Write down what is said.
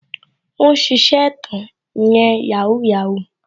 Ó ń ṣiṣẹ́ ẹ̀tàn ìyẹn "Yahoo Yahoo"